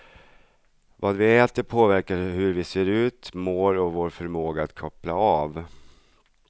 Vad vi äter påverkar hur vi ser ut, mår och vår förmåga att koppla av.